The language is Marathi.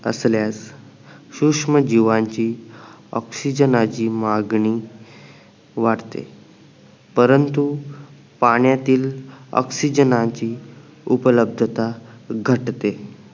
असल्यास सूक्ष्म जीवांशी ऑक्सिजनाची मागणी वाढते परंतु पाण्यातील ओक्सिजनाची उपलब्ब्धता घटते